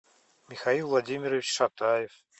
михаил владимирович шатаев